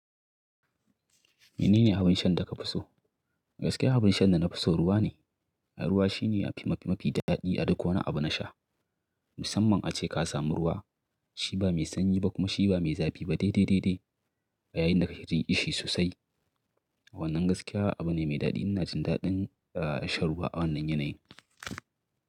Menene abin shan da ka fi so? Gaskiya abin shan da na fi so ruwa ne. Ruwa shine mafi daɗi a duk wani abu na sha. Musamman ace ka sami ruwa shi ba mai sanyi ba kuma shi ba mai zafi ba dai-dai. Yayin da ka ke jin ƙishi sosai. A wannan gaskiya abu ne mai daɗi ina jin daɗin shan ruwa a wannan yanayi.